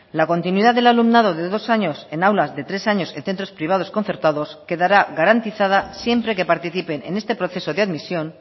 la continuidad del alumnado de dos años en aulas de tres años en centros privados concertados quedará garantizada siempre que participen en este proceso de admisión